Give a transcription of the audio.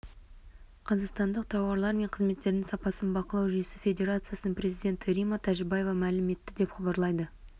қазақстандық тауарлар мен қызметтердің сапасын бақылау жүйесі федерациясының президенті римма тәжібаева мәлім етті деп хабарлайды